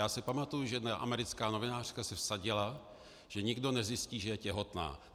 Já si pamatuji, že jedna americká novinářka se vsadila, že nikdo nezjistí, že je těhotná.